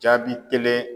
Jaabi kelen